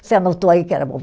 Você anotou aí que era